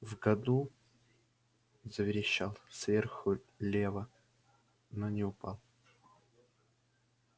в году заверещал сверху лева но не упал